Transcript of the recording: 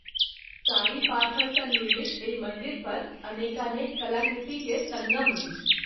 कारी पाथर सँ निर्मित एहि मंदिर पर अनेकानेक कलाकृति के संगम अछि।